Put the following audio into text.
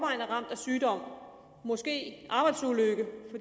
er ramt af sygdom måske